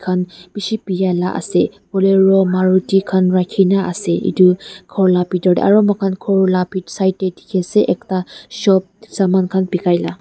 bisi bia laga ase hoile ru Maruti khan rakhi kina ase etu gour laga bethor te aru moi khan gour laga bethor side te dekhi ase ekta shop saman khan bekai la--